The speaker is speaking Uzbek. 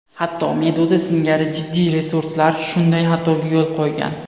Hatto Meduza singari jiddiy resurslar shunday xatoga yo‘l qo‘ygan.